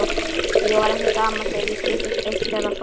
Ég var ekki gamall þegar ég kynntist Austfjarðaþokunni.